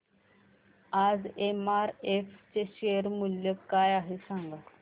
आज एमआरएफ चे शेअर मूल्य काय आहे सांगा